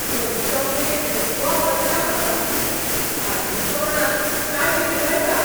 धवी चॉकलेट खुब्ब आवडटा म्हाका, घातली तोंडांत काय विरगळटा.